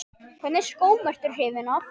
Hvernig skóm ertu hrifin af?